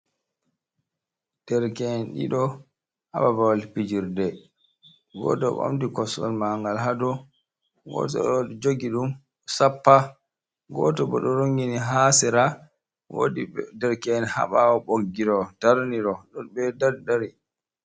Derke’en ɗiɗo haa babal fijirde, goto bo ɗi ɓamti kosol mangal haa dow, goto ɗo jogi ɗum sappa, goto bo ɗo rongini haa sera, wodi derke’en haa ɓawo boggiɗo darniɗo ɗo be daddari.